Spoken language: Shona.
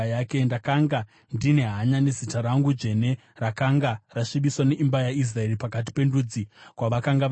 Ndakanga ndine hanya nezita rangu dzvene, rakanga rasvibiswa neimba yaIsraeri pakati pendudzi kwavakanga vaenda.